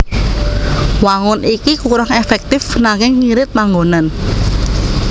Wangun iki kurang èfèktif nanging ngirit panggonan